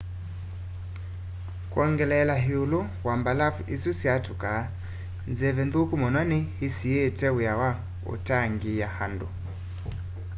kwongeleela ĩũlũ wa mbalavu isu syatũkaa nzeve nthũku mũno nĩ ĩsiĩĩte wĩa wa ũtangĩĩa andũ